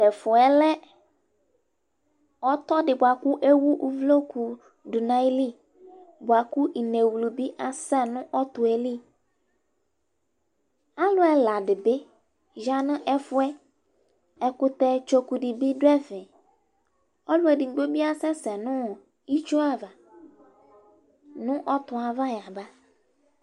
Tʋ ɛfʋ yɛ lɛ ɔtɔ dɩ bʋa kʋ ewu uvloku dʋ nʋ ayili bʋa kʋ inewlu bɩ asɛ nʋ ɔtɔ yɛ li Alʋ ɛla dɩ bɩ ya nʋ ɛfʋ yɛ Ɛkʋtɛ tsoku dɩ bɩ dʋ ɛfɛ Ɔlʋ edigbo bɩ asɛsɛ nʋ itsu ava nʋ ɔtɔ yɛ ava yaba